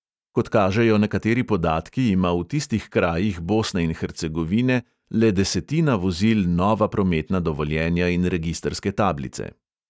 Kot kažejo nekateri podatki, ima v tistih krajih bosne in hercegovine le desetina vozil nova prometna dovoljenja in registrske tablice.